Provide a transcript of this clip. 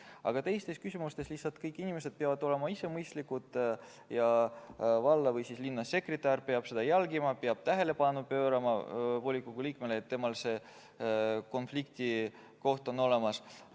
Aga teistes küsimustes lihtsalt kõik inimesed peavad olema ise mõistlikud ja valla- või linnasekretär peab seda jälgima, peab juhtima volikogu liikme tähelepanu sellele, et see konflikti koht on olemas.